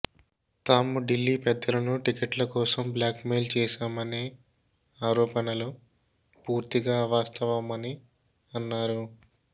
తాము ఢిల్లీ పెద్దలను టికెట్ల కోసం బ్లాక్ మెయిల్ చేశామనే ఆరోపణలు పూర్తిగా అవాస్తవమని అన్నారు